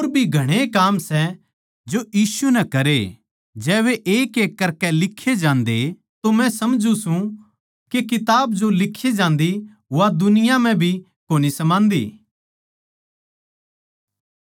और भी घणेए काम सै जो यीशु नै करे जै वे एकएक करकै लिखे जांदे तो मै समझू सूं के किताब जो लिक्खी जांदी वा दुनिया म्ह भी कोनी समान्दी